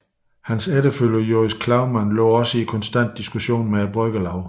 Hans efterfølger Joris Klovman lå også i konstant diskussion med bryggerlauget